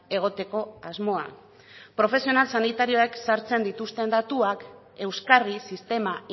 egoteko asmoa profesional sanitarioek sartzen dituzten datuak euskarri sistema